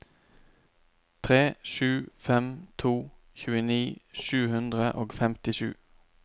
tre sju fem to tjueni sju hundre og femtisju